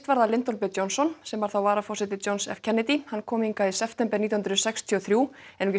Lyndon b Johnson sem var varaforseti Johns f Kennedy hann kom hingað í september nítján hundruð sextíu og þrjú